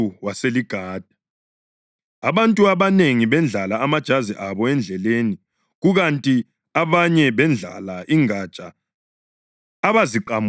Abantu abanengi bendlala amajazi abo endleleni, kukanti abanye bendlala ingatsha abaziqamula emasimini.